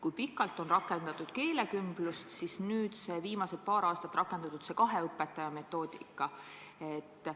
Kui pikalt on rakendatud keelekümblust ja kas nüüd viimased paar aastat on kasutatud seda kahe õpetaja lahendust?